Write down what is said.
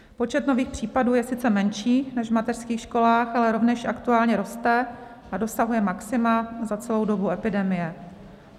Počet nových případů je sice menší než v mateřských školách, ale rovněž aktuálně roste a dosahuje maxima za celou dobu epidemie.